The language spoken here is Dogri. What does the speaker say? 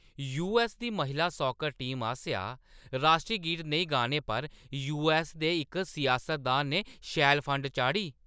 यूऐस्स दी महिला सॉकर टीम आसेआ राश्ट्री गीत नेईं गाने पर यूऐस्स दे इक सियासतदान ने शैल फंड चाढ़ी ।